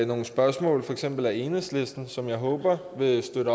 nogle spørgsmål for eksempel af enhedslisten som jeg håber vil støtte